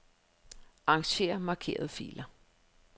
Arranger markerede filer.